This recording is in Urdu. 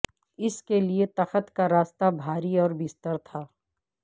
اس کے لیے تخت کا راستہ بھاری اور بستر تھا